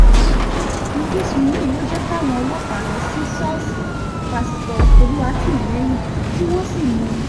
ìfisùn yìí ló jẹ́ káwọn ọlọ́pàá lọ sí ṣọ́ọ̀ṣì pásítọ̀ olùwátìmílẹ́yìn tí wọ́n sì mú un